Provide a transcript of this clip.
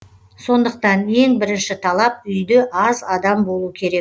сондықтан ең бірінші талап үйде аз адам болу керек